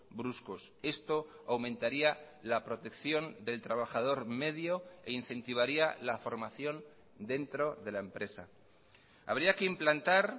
bruscos esto aumentaría la protección del trabajador medio e incentivaría la formación dentro de la empresa habría que implantar